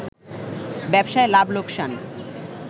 ব্যবসায় লাভ লোকসান